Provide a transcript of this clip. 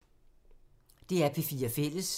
DR P4 Fælles